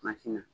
na